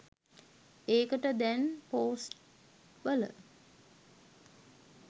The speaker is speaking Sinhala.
ඒකට දැන් පෝස්ට් වල